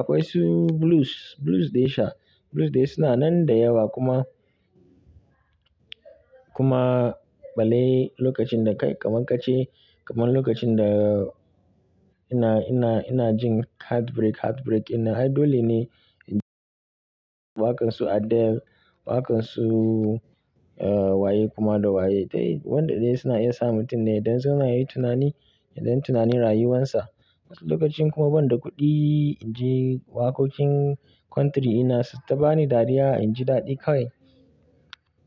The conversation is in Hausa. akwai su Blues Blues da ya sha Blues dai suna nan da yawa kuma kuma balle lokacin da kai kaman kace kaman lokacin da ina ina ina jin heartbreak heartbreak ina ai dole ne in ji waƙan su Adele waƙan su eh waye kuma da waye dai wanda dai suna iya sa mutum ne idan suna yi tunani idan tunanin rayuwansa. Wasu lokacin kuma banda kuɗi in ji waƙoƙin country ina su ta bani dariya in ji daɗi kawai.